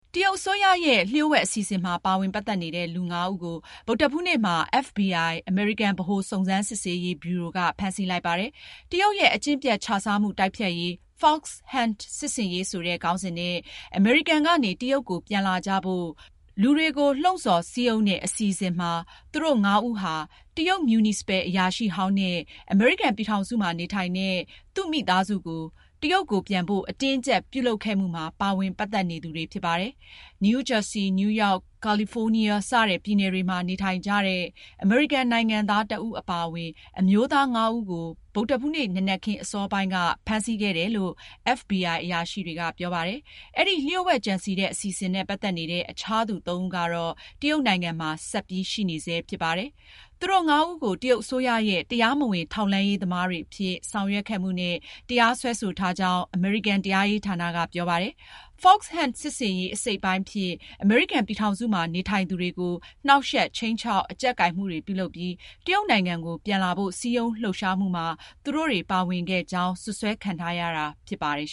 တရုတ်အစိုးရရဲ့ လျှို့ဝှက်အစီအစဉ်မှာ ပါဝင်ပတ်သက်နေတဲ့ လူ ဦးကို ဗုဒ္ဓဟူးနေ့မှာ FBI အမေရိကန် ဗဟိုစုံစမ်းစစ်ဆေးရေး ဗျူရို က ဖမ်းဆီးလိုက်ပါတယ်။ တရုတ်ရဲ့ အကျင့်ပျက်ခြစားမှုတိုက်ဖျက်ရေး Fox Hunt စစ်ဆင်ရေးဆိုတဲ့ခေါင်းစဉ်နဲ့ အမေရိကန်ကနေ တရုတ်ကို ပြန်လာကြဖို့ လူတွေကို လှုံဆော်စည်းရုံးတဲ့အစီအစဉ်ရ သူတို့ ငါးဦးဟာ တရုတ် မြူနီစပယ် အရာရှိဟောင်းနဲ့ အမေရိကန်ပြည်ထောင်စုမှာ နေထိုင်တဲ့ သူ့မိသားစုကို တရုတ်ကို ပြန်ဖို့ အတင်းအကျပ်ပြုလုပ်ခဲ့မှုမှာ ပါဝင်ပတ်သက်နေသူတွေဖြစ်ပါတယ်။ နယူးဂျာဆီ၊ နယူးရောက်၊ ကာလီဖိုးနီးယား စတဲ့ပြည်နယ်တွေမှာ နေထိုင်ကြတဲ့ အမေရိကန်နိုင်ငံသားတဦးအပါအဝင် အမျိုးသားငါးဦးကို ဗုဒ္ဓဟူးနေ့ နံနက်ခင်းအစောပိုင်းမှာ ဖမ်းဆီးခဲ့တယ်လို့ FBI အရာရှိတွေက ပြောပါတယ်။ အဲဒီ လျှို့ဝှက်ကြံစည်တဲ့ အစီအစဉ်နဲ့ ပတ်သက်နေတဲ့ အခြားသူ သုံးဦးကတော့ တရုတ်နိုင်ငံမှာ ဆက်ပြီးရှိနေဆဲဖြစ်ပါတယ်။ သူတို့ငါးဦးကို တရုတ်အစိုးရရဲ့တရားမဝင်ထောက်လှမ်းရေးသမားတွေအဖြစ် ဆောင်ရွက်ခဲ့မှုနဲ့ တရားစွဲဆိုထားကြောင်း အမေရိကန် တရားရေးဌာနက ပြောပါတယ်။ Fox Hunt စစ်ဆင်ရေးအစိတ်အပိုင်းအဖြစ် အမေရိကန်ပြည်ထောင်စုမှာ နေထိုင်သူတွေကို နှောင့်ယှက်၊ခြိမ်းခြောက်၊ အကြပ်ကိုင်မှုတွေပြုလုပ်ပြီး တရုတ်နိုင်ငံကို ပြန်လာဖို့ စည်းရုံးလှုပ်ရှားမှုမှာ သူတို့တွေ ပါဝင်ခဲ့ကြောင်း စွပ်စွဲခံထားရတာဖြစ်ပါတယ်